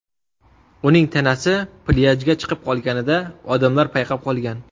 Uning tanasi plyajga chiqib qolganida odamlar payqab qolgan.